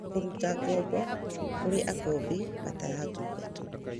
na kũrũta ngombo kũrĩ akombi mataratungatwo